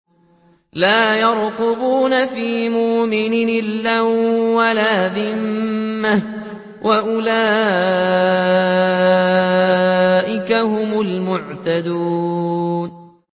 لَا يَرْقُبُونَ فِي مُؤْمِنٍ إِلًّا وَلَا ذِمَّةً ۚ وَأُولَٰئِكَ هُمُ الْمُعْتَدُونَ